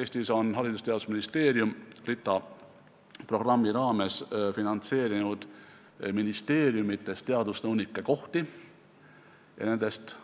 Eestis on Haridus- ja Teadusministeerium RITA programmi raames finantseerinud ministeeriumides teadusnõunike kohti ja nendest